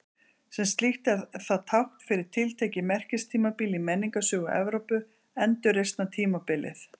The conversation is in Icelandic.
Sem slíkt er það tákn fyrir tiltekið merkistímabil í menningarsögu Evrópu, Endurreisnartímabilið.